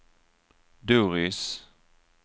Doris